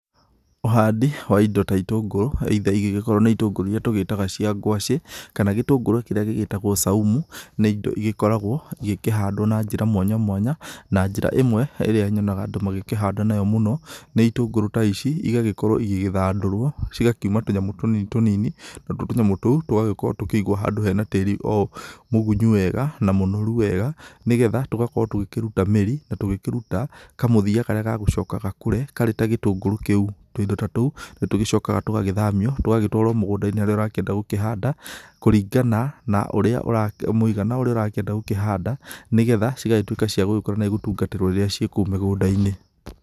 Ũhandi wa indo ta itũngũrũ either ingĩgĩkorwo nĩ itũngũrũ irĩa tũgĩtaga cia ngwacĩ kana gĩtũngũrũ kĩrĩa kĩngĩ gĩtagwo saumu, gĩkorgwo gĩkĩhandwo na njĩra mwanya mwanya na njĩra ĩmwe ĩrĩa nyonaga andũ magĩkĩhanda na yo mũno, nĩ itũngũrũ ta ici igakorwo igĩgĩthandũrwa cigakĩuma tũnyamũ tũnini tũnini na tuo tũnyamũ tũu tũgakorwo kũgĩkĩgwo handũ he na tĩĩri mũgunyu wega na mũnoru wega nĩgetha tũgakorwo tũgĩkĩruta mĩri na tũkĩruta kamũthia karĩa gagũcoka gakũre karĩ ta gĩtũngũrũ kĩu. Tũindo ta tũu nĩtuo tũcokaga tũgagĩthamio tũgatwarwo mũgũnda-inĩ harĩa ũrakĩenda gũkĩhanda kũringana na ũrĩa mũigana ũrĩa ũrakĩenda gũkĩhanda nĩgetha cigagĩtuĩka cia gũkũra na gũtungatĩrwo rĩrĩa ciĩ kũu mĩgũnda-inĩ.